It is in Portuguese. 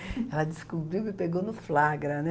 Ela descobriu e pegou no flagra, né?